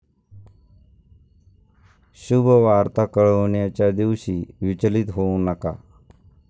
शुभवार्ता कळविण्याच्या दिवशी विचलित होऊ नका